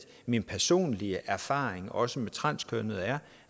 min personlige erfaring også med transkønnede er